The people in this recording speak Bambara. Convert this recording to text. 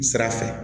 Sira fɛ